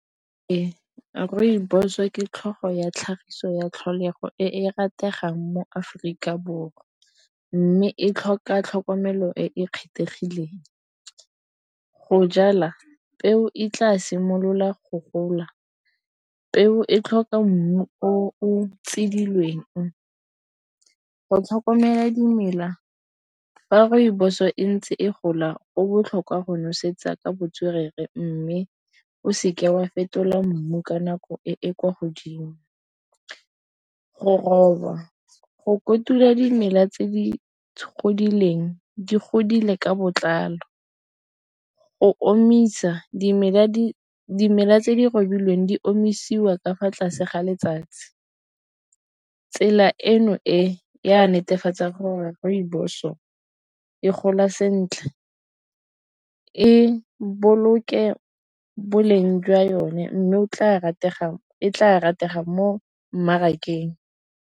Ee, rooibos ke tlhogo ya tlhagiso ya tlholego e e rategang mo-Aforika Borwa mme e tlhoka tlhokomelo e e kgethegileng go jala peo e tla simolola go gola. Peo e tlhoka mmu o tsidilweng go tlhokomela dimela fa rooibos-o e ntse e gola go botlhokwa go nosetsa ka botswerere mme o seke wa fetola mmu ka nako e e kwa godimo go oba go kotula dimela tse di godileng di godile ka botlalo. Go omisa dimela, dimela tse di kobilweng di omisiwa ka fa tlase ga letsatsi tsela eno e ya netefatsang gore rooibos o e gola sentle e boloke boleng jwa yone mme o tla rategang e tla ratega mo mmarakeng.